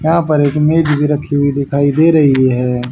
यहाँ पर एक मेज भी रखी हुई दिखाई दे रही हैं।